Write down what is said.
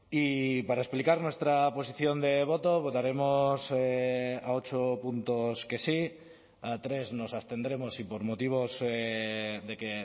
y para explicar nuestra posición de voto votaremos a ocho puntos que sí a tres nos abstendremos y por motivos de que